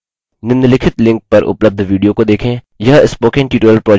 * निम्नलिखित link पर उपलब्ध video को देखें